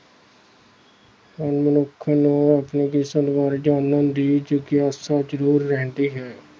ਹਰ ਮਨੁੱਖ ਨੂੰ ਆਪਣੀ ਕਿਸਮਤ ਬਾਰੇ ਜਾਣਨ ਦੀ ਜਗਿਆਸਾ ਜ਼ਰੂਰ ਰਹਿੰਦੀ ਹੈ।